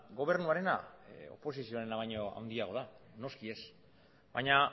gobernuarena oposizioarena baino handiagoa da noski baina